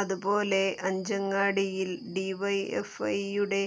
അതുപോലെ അഞ്ചങ്ങാടിയിൽ ഡിവൈഎഫ്ഐയുടെ